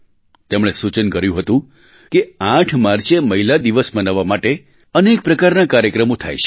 તેમણે સૂચન કર્યું હતું કે 8 માર્ચે મહિલા દિવસ મનાવવા માટે અનેક પ્રકારના કાર્યક્રમો થાય છે